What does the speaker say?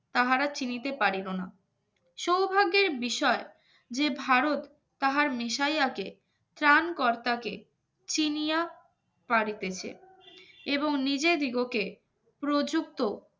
তাহারা চিনিতে পারিব না সৌভাগ্যের বিষয় যে ভারত তাহার মিশাইয়াকে ত্রাণকর্তাকে চিনিয়া পাড়িতেছে এবং নিজের দিগকে প্রযুক্ত